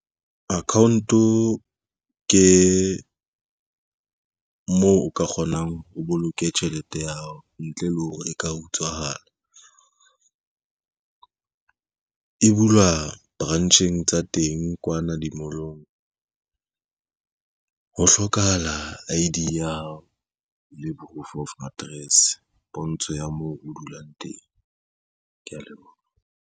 Account-o ke moo o ka kgonang o boloke tjhelete ya hao ntle le hore e ka utshwahala. E bulwa branch-eng tsa teng kwana di-mall-ong. Ho hlokahala I_D ya hao le proof of address, pontsho ya moo o dulang teng, kea leboha.